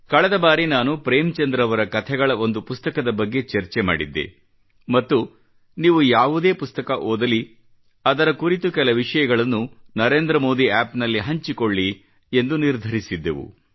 ಕಳೆದ ಬಾರಿ ನಾನು ಪ್ರೇಮಚಂದ್ ರವರ ಕಥೆಗಳ ಒಂದು ಪುಸ್ತಕದ ಬಗ್ಗೆ ಚರ್ಚೆ ಮಾಡಿದ್ದೆ ಮತ್ತು ನೀವು ಯಾವುದೇ ಪುಸ್ತಕ ಓದಲಿ ಅದರ ಕುರಿತು ಕೆಲ ವಿಷಯಗಳನ್ನು ನರೇಂದ್ರಮೋದಿ App ನಲ್ಲಿ ಹಂಚಿಕೊಳ್ಳಿ ಎಂದು ನಿರ್ಧರಿಸಿದ್ದೆವು